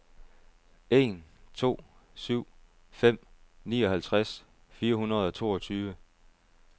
en to syv fem nioghalvtreds fire hundrede og toogtyve